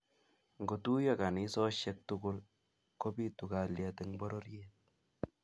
ngo tuyo kanisosheck tugul ko pitu kalyet eng pororiet